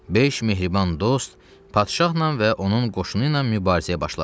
Beş mehriban dost padşahla və onun qoşunu ilə mübarizəyə başladı.